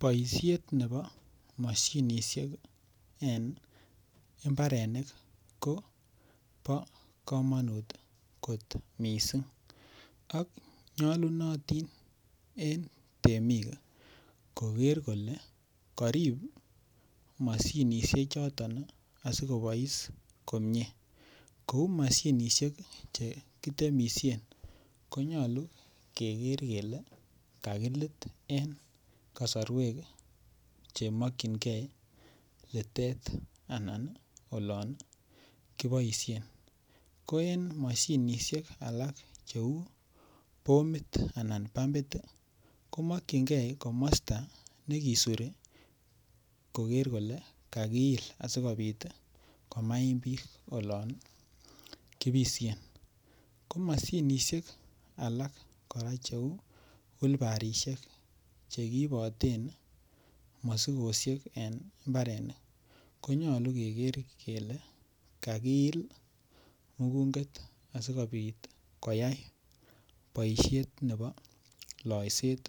Boishet nebo moshinishek en mbarenik kobo komonut kot missing ak nyolunotin en temik koger kole korib moshinishek choton asi kobois komie kouu moshinishek che kitemisien ko nyoluu keger kelee kakilit en kosorwek che mokyingee litet anan yon kiboishen. Ko en moshinishek alak cheuu bomit anan bambit ko mokyingee komosto ne kisurii koger kole kakiil asikopit komaim biik olon kibishen ko moshinisek alak koraa che uu wilbarishek che kiiboten mosikoshek en mbarenik konyoluu keger kelee kaiilil mugunget asikopit koyay boishet nebo loiset